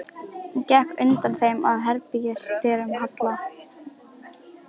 Hún gekk á undan þeim að herbergis- dyrum Halla.